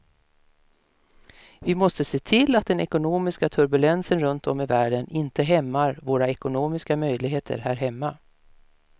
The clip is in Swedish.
Vi måste se till att den ekonomiska turbulensen runt om i världen inte hämmar våra ekonomiska möjligheter här hemma.